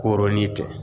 Koronin tɛ